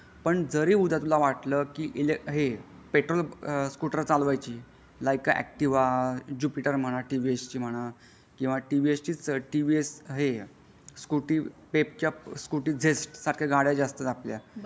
पण जरी उद्या तुला वाटलं की आहे पेट्रोल स्कूटर चालवायची लायका एक्टिवाजुपिटर म्हणा टी वि एस म्हणा किंवा टी वि एस ची टी वि एस हे सकूटी पेपट सारख्या सकूटी झेस्ट सारख्या गाड्या ज्या असतात आपल्या.